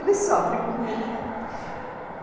Ele sofre comigo, não é?